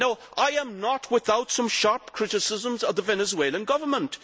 No, I am not without some sharp criticisms of the Venezuelan government.